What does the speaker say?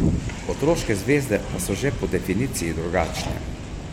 Otroške zvezde pa so že po definiciji drugačne.